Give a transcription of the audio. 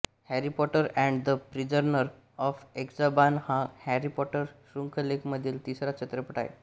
Harry Potter and the Prisoner of Azkaban हा Harry Potter शृंखलेमधील तिसरा चित्रपट आहे